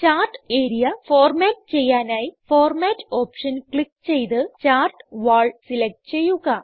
chart area format ചെയ്യാനായി format option click ചെയ്ത് chart wall select ചെയ്യുക